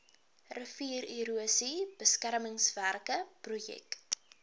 riviererosie beskermingswerke projek